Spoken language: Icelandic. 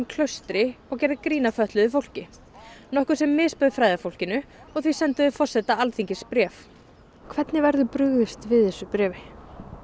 Klaustri og gerðu grín að fötluðu fólki nokkuð sem misbauð og því sendu þau forseta Alþingis bréf hvernig verður brugðist við þessu bréfi